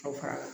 Aw fara